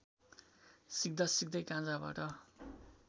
सिक्दासिक्दै गाँजाबाट